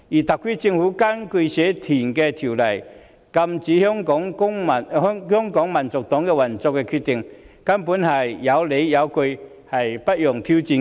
特區政府根據《社團條例》禁止香港民族黨運作的決定，根本是有理有據，不容挑戰的。